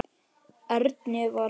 Erni var sama.